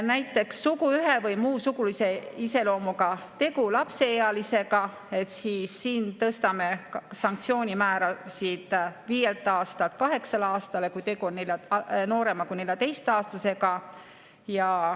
Näiteks suguühe või muu sugulise iseloomuga tegu lapseealisega – siin tõstame sanktsioonimäärasid viielt aastalt kaheksale aastale, kui tegu on noorema kui 14‑aastasega.